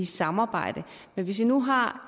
samarbejde men hvis vi nu har